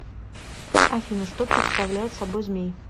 афина что представляет собой змей